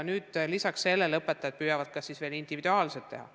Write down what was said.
Õpetajad püüavad seda ka individuaalselt teha.